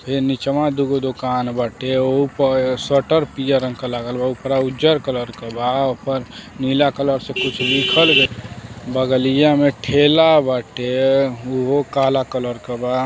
फेन निचवा दुगो दुकान बाटे ओहु प सटर पियर रंग के लागल बा। उपरा उजर कलर के बा ओपर नीला कलर से कुछ लिखल गइल। बगलिया में ठेला बाटे उहो काला कलर के बा।